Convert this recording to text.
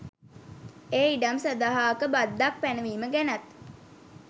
ඒ ඉඩම් සඳහාක බද්දක් පැනවීම ගැනත්.